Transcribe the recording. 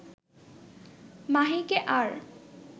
মাহিকে আর